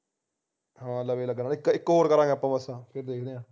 ਹਾਂ ਲਗਣਾ ਇਕ ਇਕ ਹੋਰ ਕਰਾਂਗੇ ਆਪਾ ਬਸ ਫਿਰ ਦੇਖਦੇ ਹਾਂ